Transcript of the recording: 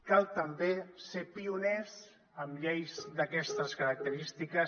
cal també ser pioners en lleis d’aquestes característiques